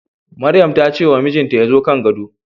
Maryam ta ce wa mijinta ya zo kan gado